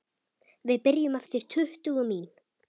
Við byrjum eftir tuttugu mín